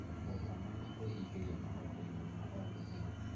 gũkoma, na kwĩingĩria maũndũ-inĩ ma o mũthenya.